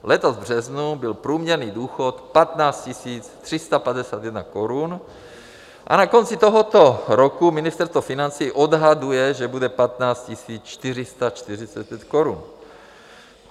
Letos v březnu byl průměrný důchod 15 351 korun a na konci tohoto roku Ministerstvo financí odhaduje, že bude 15 445 korun.